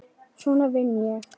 Svona vinn ég.